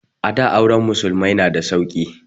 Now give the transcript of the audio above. A da auren musulmai na da sauki